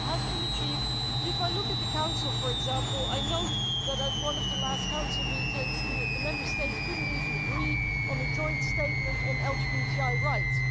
A lot has been achieved, but if I look at the Council, for example, I note that at one of the last Council meetings the Member States couldn't even agree on a joint statement on LGBTI rights.